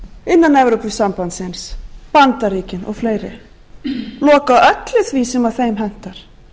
innan evrópusambandsins bandaríkin og fleiri loka öllu því sem þeim hentar